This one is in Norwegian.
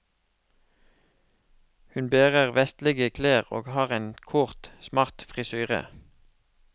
Hun bærer vestlige klær og har en kort, smart frisyre.